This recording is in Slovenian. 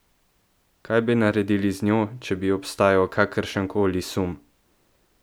Kaj bi naredili z njo, če bi obstajal kakršenkoli sum?